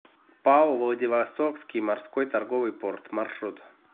пао владивостокский морской торговый порт маршрут